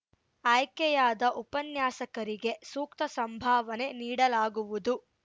ಆಯ್ಕೆಯಾದ ಉಪನ್ಯಾಸಕರಿಗೆ ಸೂಕ್ತ ಸಂಭಾವನೆ ನೀಡಲಾಗುವುದು